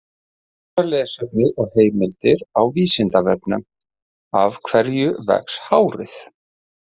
Frekara lesefni og heimildir á Vísindavefnum: Af hverju vex hárið?